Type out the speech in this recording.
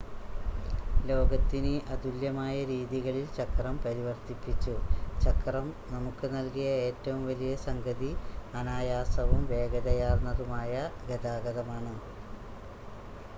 ലോകത്തിനെ അതുല്യമായ രീതികളിൽ ചക്രം പരിവർത്തിപ്പിച്ചു ചക്രം നമുക്ക് നൽകിയ ഏറ്റവും വലിയ സംഗതി അനായാസവും വേഗതയാർന്നതുമായ ഗതാഗതമാണ്